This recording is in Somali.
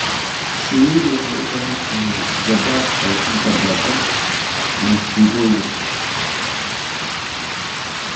Shinnidu waxay u baahan tahay gabaad ay ka gabbado masiibooyinka.